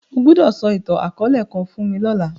O gbọdọ sọ itan-akọọlẹ kan fun mi lọla!